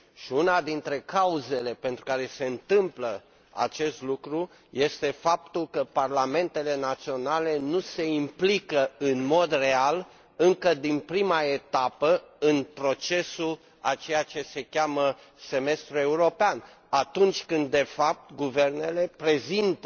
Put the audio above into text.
Una dintre cauzele pentru care se întâmplă acest lucru este faptul că parlamentele naționale nu se implică în mod real, încă din prima etapă, în procesul a ceea ce se cheamă semestrul european, atunci când, de fapt, guvernele prezintă